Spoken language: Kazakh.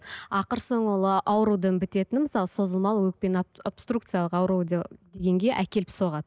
ақыр соңы ол аурудың бітетіні мысалы созылмалы өкпені абструкциялық ауру әкеліп соғады